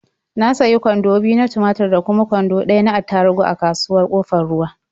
Na sayi kwando biyu na tumatur da kuma kwando ɗaya na attaruhu a kasuwar Ƙofar Ruwa.